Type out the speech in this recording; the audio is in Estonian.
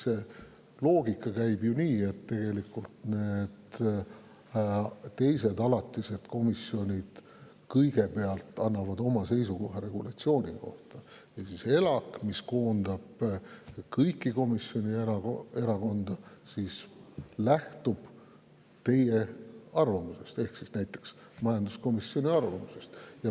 See loogika käib tegelikult nii, et teised alatised komisjonid kõigepealt annavad oma seisukoha regulatsiooni kohta ja siis ELAK, mis koondab kõiki komisjonide ja erakondade, lähtub teie arvamusest, ka näiteks majanduskomisjoni arvamusest.